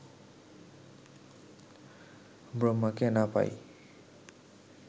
ব্রহ্মাকে না পাই